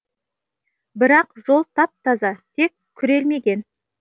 бірақ жол тап таза тек күрелмеген